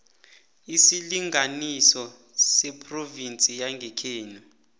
isilinganiso sephrovinsi yangekhenu